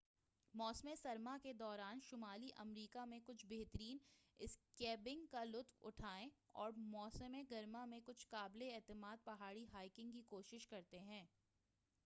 موسم سرما کےدوران شمالی امریکہ میں کچھ بہترین اسکیینگ کا لطف اٹھائیں اور موسم گرما میں کچھ قابل اعتماد پہاڑی بائیکنگ کی کوشش کریں